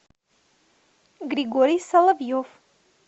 григорий соловьев